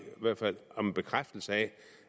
om en bekræftelse af